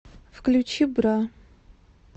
включи бра